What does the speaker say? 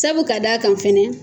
Sabu ka d'a kan fana.